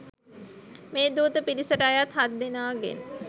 මේ දූත පිරිසට අයත් හත් දෙනාගෙන්